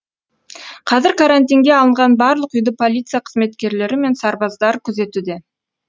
қазір карантинге алынған барлық үйді полиция қызметкерлері мен сарбаздар күзетуде